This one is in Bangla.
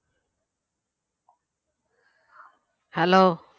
Hello